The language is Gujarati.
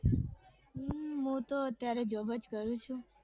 હમ હું તો અત્યારે job જ કરું છું.